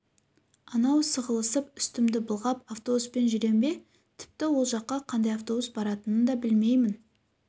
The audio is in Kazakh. анау сығылысып үстімді былғап автобуспен жүрем бе тіпті ол жаққа қандай автобус баратынын да білмеймін